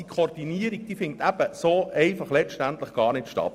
Diese Koordination findet letztendlich gar nicht statt.